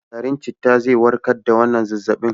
Garin citta zai warkar da wannan zazzabin.